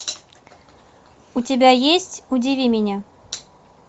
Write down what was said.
у тебя есть удиви меня